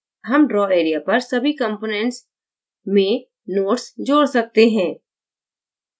हम draw area पर सभी components compartment species या reaction में notes जोड़ सकते हैं